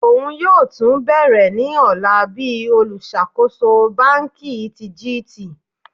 Oun yoo tun bẹrẹ ni ọla bi oluṣakoso banki ti GT.